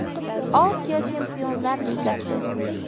Osiyo Chempionlar ligasi.